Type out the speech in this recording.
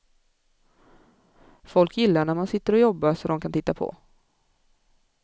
Folk gillar när man sitter och jobbar så de kan titta på.